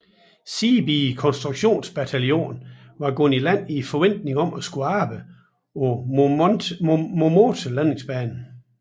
Seebee konstruktionsbataljon var gået i land i forventning om at skulle arbejde på Momote landingsbanen